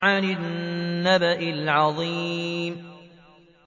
عَنِ النَّبَإِ الْعَظِيمِ